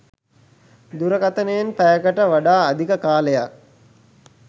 දුරකථනයෙන් පැයකට වඩා අධික කාලයක්